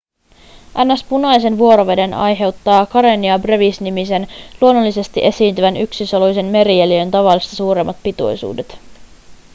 ns punaisen vuoroveden aiheuttaa karenia brevis nimisen luonnollisesti esiintyvän yksisoluisen merieliön tavallista suuremmat pitoisuudet